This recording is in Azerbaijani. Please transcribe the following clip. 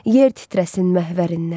Yer titrəsin məhvərindən.